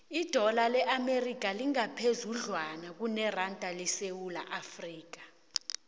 idola le amerika lingaphezudlwana kuneranda yesewula afrika